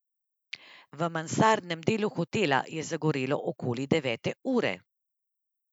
V mansardnem delu hotela je zagorelo okoli devete ure.